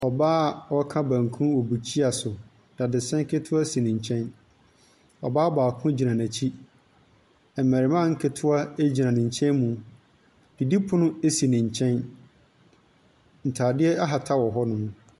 Ɔbaa ɔɔka banku wɔ mukyia so. Dadesɛn ketoa si ne kyɛn, ɔbaa baako gyina n'ekyi. Mbɛrema nketoa gyina nekyɛn mu, didipono esi ne kyɛn, ntaadeɛ ahata wɔ hɔ nom .